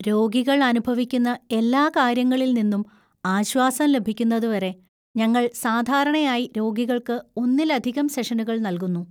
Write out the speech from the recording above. രോഗികൾ അനുഭവിക്കുന്ന എല്ലാ കാര്യങ്ങളിൽ നിന്നും ആശ്വാസം ലഭിക്കുന്നതുവരെ ഞങ്ങൾ സാധാരണയായി രോഗികള്‍ക്ക് ഒന്നിലധികം സെഷനുകൾ നൽകുന്നു.